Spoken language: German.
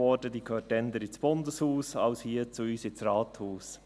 Sie gehört eher ins Bundeshaus, denn hier zu uns ins Rathaus.